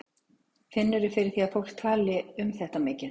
Finnurðu fyrir því að fólk tali um þetta mikið?